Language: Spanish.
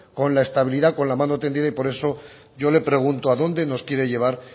con la estabilidad y con la mano tendida y por eso yo le pregunto adónde nos quiere llevar